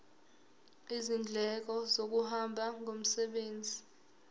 izindleko zokuhamba ngomsebenzi